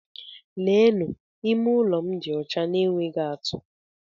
Leenụ! Ime ụlọ m dị ọcha na-enweghị atú!